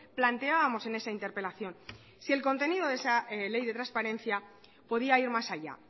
planteábamos en esa interpelación si el contenido esa ley de transparencia podía ir más allá